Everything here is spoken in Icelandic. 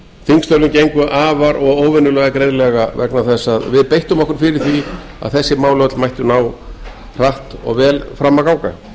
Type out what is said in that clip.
þingstörfin gengju afar og óvenjulega greiðlega vegna þess að við beittum okkur fyrir því að þessi mál öll mættu ná hratt og vel fram að ganga